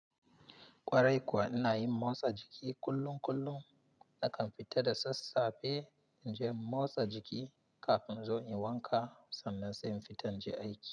Kwarai kuwa, ina yin motsa jiki kullum kullum. Nakan fita da sassafe in je in motsa jiki kafin in zo in yi wanka sannan sai in fita in je aiki.